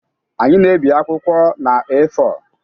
Anyị na-ebi akwụkwọ na A4